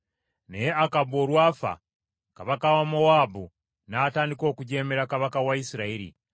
Naye Akabu olwafa, kabaka wa Mowaabu n’atandika okujeemera kabaka wa Isirayiri.